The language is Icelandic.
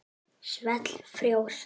Svell frjósa.